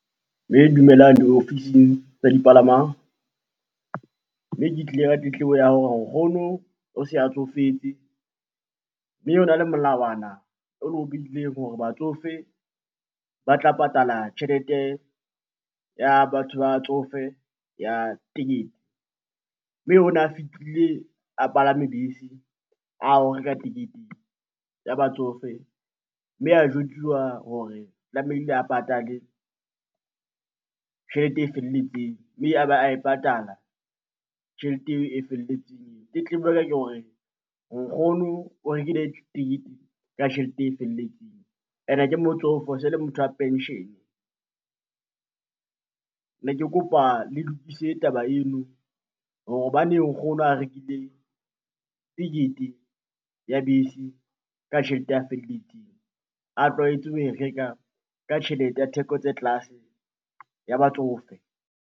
Mme dumelang ofising tsa dipalamang, mme ke tlile ka tletlebo ya hore nkgono o se a tsofetse mme hona le molawana o lo behileng hore batsofe ba tla patala tjhelete ya batho ba batsofe ya tekete. Mme ona a fihlile a palame bese a re o reka tekete ya batsofe mme a jwetsuwa hore tlamehile a patale tjhelete e felletseng, mme a ba a e patala tjhelete eo e felletseng. Tletlebo ya ka ke hore nkgono o rekile tekete ka tjhelete e felletseng ene ke motsofe se le motho wa pension. Ne ke kopa le lokise taba eno hore hobaneng nkgono a rekile tekete ya bese ka tjhelete ya feletseng a tlwaetse ho e reka ka tjhelete ya theko tse tlase ya batsofe.